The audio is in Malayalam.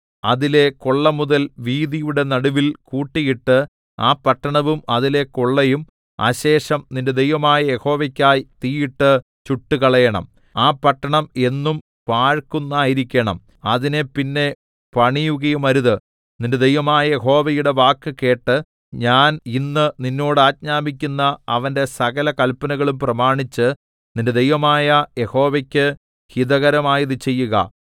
അതിലെ കൊള്ളമുതൽ വീഥിയുടെ നടുവിൽ കൂട്ടിയിട്ട് ആ പട്ടണവും അതിലെ കൊള്ളയും അശേഷം നിന്റെ ദൈവമായ യഹോവയ്ക്കായി തീയിട്ട് ചുട്ടുകളയേണം ആ പട്ടണം എന്നും പാഴ്ക്കുന്നായിരിക്കേണം അതിനെ പിന്നെ പണിയുകയുമരുത് നിന്റെ ദൈവമായ യഹോവയുടെ വാക്കുകേട്ട് ഞാൻ ഇന്ന് നിന്നോട് ആജ്ഞാപിക്കുന്ന അവന്റെ സകല കല്പനകളും പ്രമാണിച്ച് നിന്റെ ദൈവമായ യഹോവക്ക് ഹിതകരമായത് ചെയ്യുക